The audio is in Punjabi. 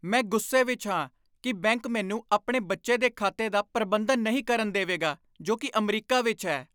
ਮੈਂ ਗੁੱਸੇ ਵਿੱਚ ਹਾਂ ਕਿ ਬੈਂਕ ਮੈਨੂੰ ਆਪਣੇ ਬੱਚੇ ਦੇ ਖਾਤੇ ਦਾ ਪ੍ਰਬੰਧਨ ਨਹੀਂ ਕਰਨ ਦੇਵੇਗਾ ਜੋ ਕਿ ਅਮਰੀਕਾ ਵਿੱਚ ਹੈ।